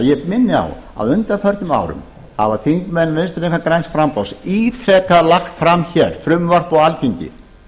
á að á undanförnum árum hafa þingmenn vinstri hreyfingarinnar græns framboðs ítrekað lagt fram hér frumvarp á alþingi